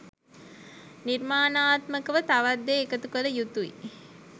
නිර්මාණාත්මකව තවත් දේ එකතු කළ යුතුයි